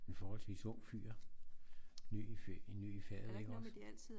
En forholdsvist ung fyr ny i faget ik også